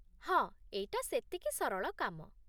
ହଁ, ଏଇଟା ସେତିକି ସରଳ କାମ